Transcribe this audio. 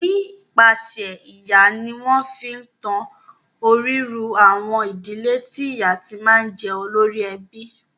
Nípasẹ̀ ìyá ni wọ́n fi ń tan orírun àwọn ìdílé tí ìyá ti máa ń jẹ́ olórí ẹbí.